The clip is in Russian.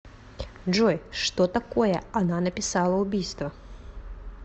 джой что такое она написала убийство